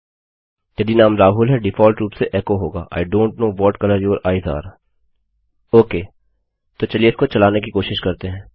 यदि नाम राहुल है डिफाल्ट रूप से एचो होगा I don't know what colour your eyes are okay तो चलिए इसको चलाने की कोशिश करते हैं